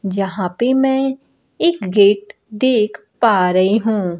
जहां पे मैं एक गेट देख पा रही हूं।